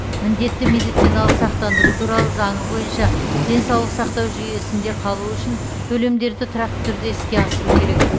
міндетті медициналық сақтандыру туралы заңы бойынша денсаулық сақтау жүйесінде қалу үшін төлемдерді тұрақты түрде іске асыру керек